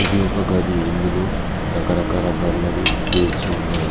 ఇది ఒక గది ఇందులో రకరకాల బల్లలు పేర్చి ఉన్నాయి.